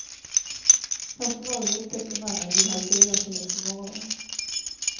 Personalen upptäckte mannen vid halv fyratiden på morgonen.